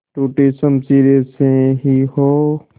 टूटी शमशीरें से ही हो